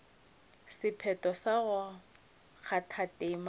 sephetho sa go kgatha tema